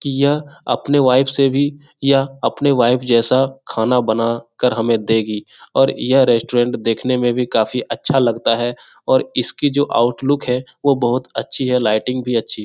की यह अपने वाइफ से भी यह अपने वाइफ जैसा खाना बनाकर हमें देगी और यह रेस्टोरेंट देखने में भी काफी अच्छा लगता है और इसकी जो आउटलुक है वो बहुत अच्छी है लाइटिंग भी अच्छी है।